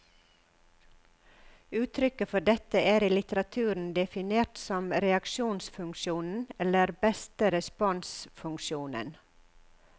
Uttrykket for dette er i litteraturen definert som reaksjonsfunksjonen, eller beste respons funksjonen.